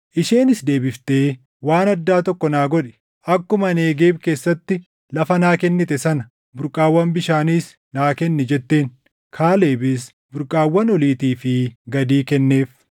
Isheenis deebiftee, “Waan addaa tokko naa godhi. Akkuma Negeeb keessatti lafa naa kennite sana burqaawwan bishaaniis naa kenni” jetteen. Kaalebis burqaawwan oliitii fi gadii kenneef.